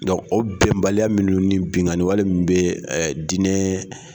Nka o bɛnbaliya minnu ni binkaniwale mun bɛ diinɛ